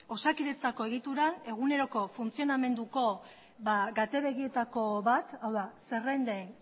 osakidetzako egitura eguneroko funtzionamenduko bat hau da zerrenden